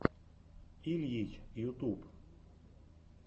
ильич ютуб